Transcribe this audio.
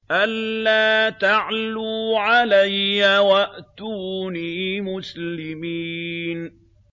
أَلَّا تَعْلُوا عَلَيَّ وَأْتُونِي مُسْلِمِينَ